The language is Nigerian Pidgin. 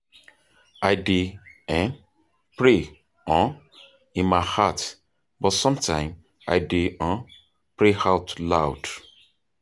I dey um pray um in my heart, but sometimes i dey um pray out loud.